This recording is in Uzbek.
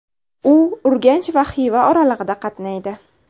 U Urganch va Xiva oralig‘ida qatnaydi.